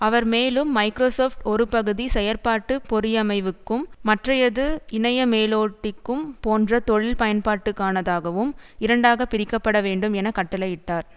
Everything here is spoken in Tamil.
அவர் மேலும் மைக்ரோசொப்ட் ஒரு பகுதி செயற்பாட்டு பொறியமைவுக்கும் மற்றையது இணைய மேலோட்டிக்கும் போன்ற தொழில் பயன்பாட்டுக்கானதாகவும் இரண்டாக பிரிக்கப்படவேண்டும் என கட்டளையிட்டார்